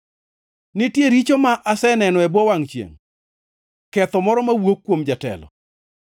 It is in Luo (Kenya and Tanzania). Nitie richo ma aseneno e bwo wangʼ chiengʼ, ketho moro mawuok kuom jatelo: